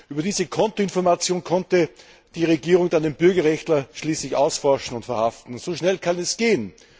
Über diese Kontoinformationen konnte die Regierung dann den Bürgerrechtler schließlich ausforschen und verhaften. So schnell kann es gehen!